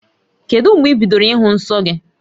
Kedu mgbe ị bidoro ịhụ nsọ gị?